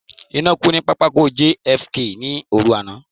Iná kú ní pápákọ̀ JFK ní òru àná.